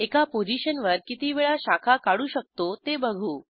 एका पोझिशनवर किती वेळा शाखा काढू शकतो ते बघू